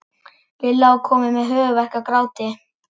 Lilla var komin með höfuðverk af gráti.